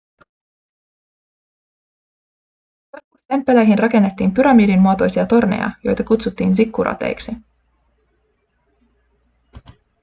joskus temppeleihin rakennettiin pyramidin muotoisia torneja joita kutsuttiin zikkurateiksi